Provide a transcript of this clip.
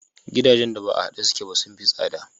Gidajen da ba a haɗe suke ba sun fi tsada.